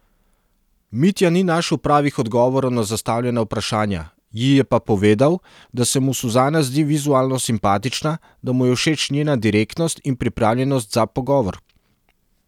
Mitja ni našel pravih odgovorov na zastavljena vprašanja, ji je pa povedal, da se mu Suzana zdi vizualno simpatična, da mu je všeč njena direktnost in pripravljenost za pogovor.